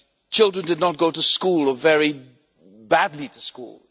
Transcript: Children did not go to school, or very badly to school.